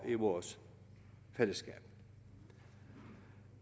i vores fællesskab